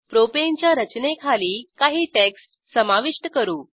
propane च्या रचनेखाली काही टेक्स्ट समाविष्ट करू